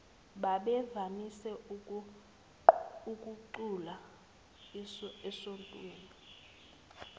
bebevamise ukucula esontweni